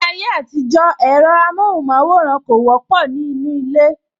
Ní ayé àtijó, ẹ̀rọ amohun maworan kò wọ́pọ̀ ní inú ilé